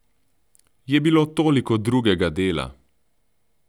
Je bilo toliko drugega dela!